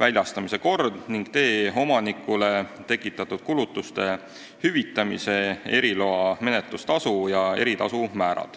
väljastamise kord ning tee omanikule tekitatud kulutuste hüvitamise, eriloa menetlustasu ja eritasu määrad".